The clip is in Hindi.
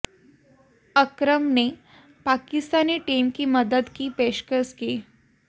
अकरम ने पाकिस्तानी टीम की मदद की पेशकश की